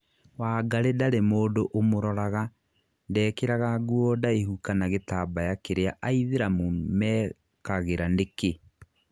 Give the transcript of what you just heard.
Wangari ndarĩ mũndũ umuroraga, ndekĩraga nguo ndaihu kana gĩtambaya kĩrĩa aithĩramũ mekagĩra nĩkĩ?